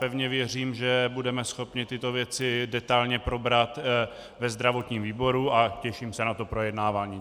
Pevně věřím, že budeme schopni tyto věci detailně probrat ve zdravotním výboru, a těším se na to projednávání.